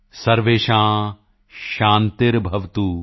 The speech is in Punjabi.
ਸਰਵੇਸ਼ਾਂ ਸ਼ਾਂਤੀਰਭਵਤੁ